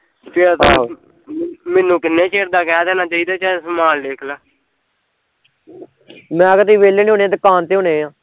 ਆਹ ਮੈਨੂੰ ਕਿੰਨੇ ਚਿਰ ਦਾ ਕਹਿ ਦੇਣਾ ਚਾਹੀਦਾ ਚੱਲ ਸਮਾਨ ਲਿਖਲਾ ਮੈਂ ਕਿਹਾਂ ਤੁਸੀਂ ਵੇਹਲੇ ਨੀ ਹੋਣੇ ਦੁਕਾਨ ਤੇ ਹੋਣੇ ਆ